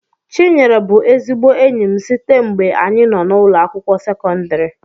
chinyere bu ezigbo enyim sitee ngbe anyi noo na ụlọ akwụkwọ sekondri